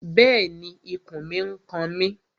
Bẹ́ẹ̀ni, ikùn mi n kan mi